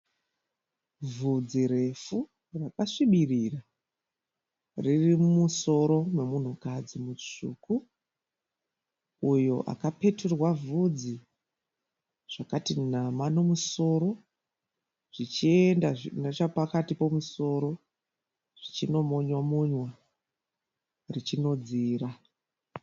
Vhudzi refu rakasvibirira. Riri mumusoro memunhukadzi mutsvuku uyo akapeturwa vhudzi zvakati nama nemusoro zvichienda nechapakati pemusoro zvichinomonywa-monywa richinodzira.